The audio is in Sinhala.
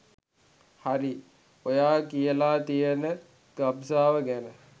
හරි ඔයා කියලා තියන ගබ්සාව ගැන